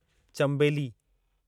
चम्बेली